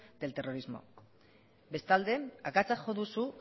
del terrorismo bestalde akatsa jo duzu